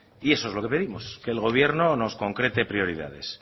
y eso es lo que pedimos que el gobierno nos concrete prioridades